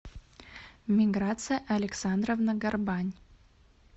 миграция александровна горбань